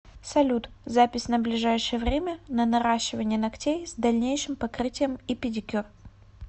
салют запись на ближайшее время на наращивание ногтей с дальнейшим покрытием и педикюр